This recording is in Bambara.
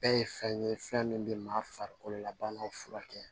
Bɛɛ ye fɛn ye fɛn min bɛ maa farikolo la banaw furakɛ